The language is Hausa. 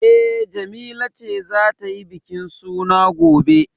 E, Jamila ce za ta yi bikin suna gobe.